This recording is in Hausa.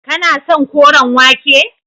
Kana son koren wake.